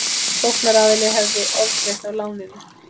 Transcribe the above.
Sóknaraðili hefði ofgreitt af láninu